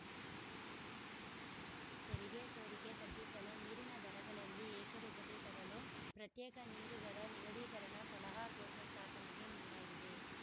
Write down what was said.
ತೆರಿಗೆ ಸೋರಿಕೆ ತಗ್ಗಿಸಲು ನೀರಿನ ದರಗಳಲ್ಲಿ ಏಕರೂಪತೆ ತರಲು ಪ್ರತ್ಯೇಕ ನೀರು ದರ ನಿಗದಿಕರಣ ಸಲಹಾ ಕೋಶ ಸ್ಥಾಪನೆಗೆ ಮುಂದಾಗಿದೆ